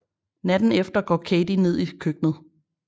Natten efter går Katie ned i køkkenet